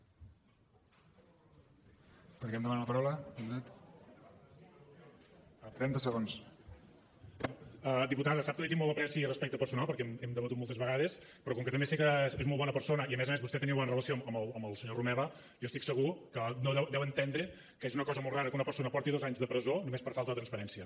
diputada sap que li tinc molt apreci i respecte personal perquè hem debatut moltes vegades però com que també sé que és molt bona persona i a més a més vostè tenia bona relació amb el senyor romeva jo estic segur que deu entendre que és una cosa molt rara que una persona porti dos anys de presó només per falta de transparència